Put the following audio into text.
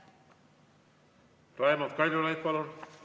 Raimond Kaljulaid, palun!